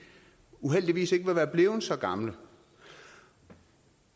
uheldigvis ikke ville være blevet så gamle